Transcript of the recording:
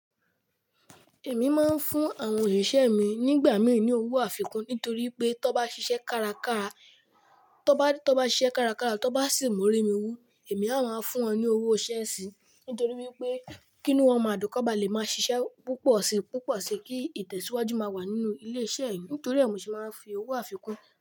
Èmi máa ń fún àwọn òṣìṣẹ́ mi nígbà míì ní owó àfikún nítorí pé tó bá ṣiṣẹ́ kárakára, tó bá sì mú òré mi wú, èmi a máa fún wọn ní owó iṣẹ́ sì. Nítorí wípé, kí nu wón máa dùn kọ́ ba lè máa ṣiṣẹ́ púpọ̀si púpọ̀si kí ìtẹ̀síwájú máa wà nínú ilé iṣẹ́ mi. Nítorí è ni mo se máa ń fi owó àfikún.